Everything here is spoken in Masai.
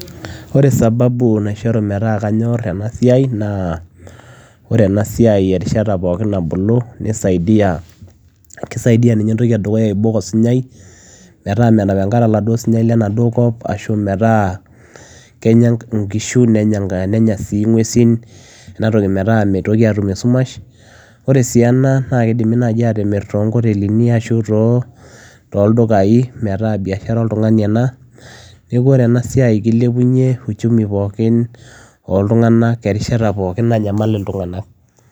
Oree sababu naishoruu metaa kanyorr enaa siai naa oree erishata pookin nabulu nisaidia aibok osinyai metaa menap enkare metaa kenyaa inkishu ,nguesin metaa metum esumash oree si enaa naa kidimi naaji atimirr too ngotelini ashua ilntukai metaa biashara oltunganii neeku oree ena siai ilepunyiee uchumii erishata pookin